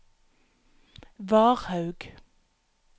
Varhaug